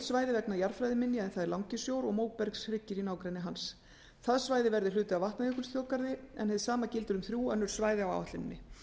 svæði vegna jarðfræðiminja en það er langisjór og móbergshryggir í nágrenni hans það svæði verði hluti af vatnajökulsþjóðgarði en hið sama gildir um þrjú önnur svæði á áætluninni